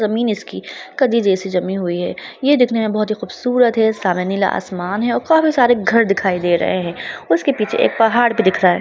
जमीन इसकी कदी जैसी जमी हुई है ये दिखने मे बहुत ही खूबसूरत है सामने नीला आसमान है और काफी सारे घर दिखाई दे रहे है उसके पीछे एक पहाड़ भी दिख रहा है।